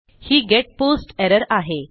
ही get post error आहे